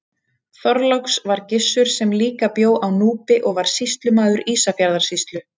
Þorláks var Gissur sem líka bjó á Núpi og var sýslumaður Ísafjarðarsýslu.